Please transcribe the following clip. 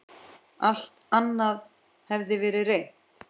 Alt annað hafði verið reynt.